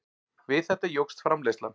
Við þetta jókst framleiðslan.